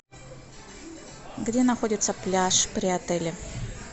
где находится пляж при отеле